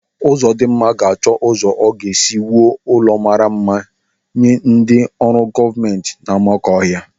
Uzodimma ga-achọ ụzọ ọ ga-esi wuo ụlọ mmara mma nye ndị ọrụ gọọmenti n'Amakọhia.